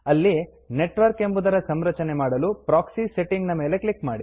ಅಲ್ಲಿ Networkನೆಟ್ವರ್ಕ್ ಎಂಬುದರ ಸಂರಚನೆ ಮಾಡಲು ಪ್ರಾಕ್ಸಿ Settingಪ್ರೋಕ್ಸಿ ಸೆಟ್ಟಿಂಗ್ ನ ಮೇಲೆ ಒತ್ತಿ